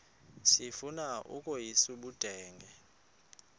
sifuna ukweyis ubudenge